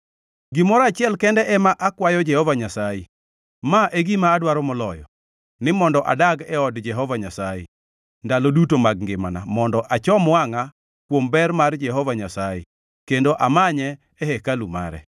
Gimoro achiel kende ema akwayo Jehova Nyasaye, ma e gima adwaro moloyo; ni mondo adag e od Jehova Nyasaye ndalo duto mag ngimana, mondo achom wangʼa kuom ber mar Jehova Nyasaye kendo amanye e hekalu mare.